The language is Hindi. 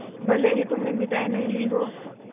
भले ही तुमने मिठाई नहीं ली हो